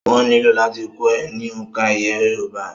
Wọ́n nílò láti kọ́ ọ ní òǹkà iye yorùbá